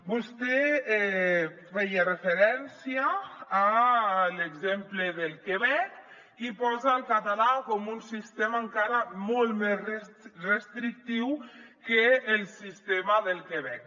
vostè feia referència a l’exemple del quebec i posa el català com un sistema encara molt més restrictiu que el sistema del quebec